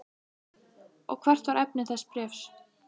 Og hvert var efni þess bréfs?